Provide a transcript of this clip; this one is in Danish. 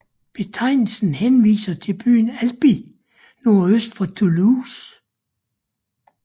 Betegnelsen henviser til byen Albi nordøst for Toulouse